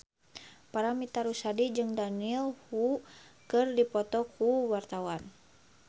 Paramitha Rusady jeung Daniel Wu keur dipoto ku wartawan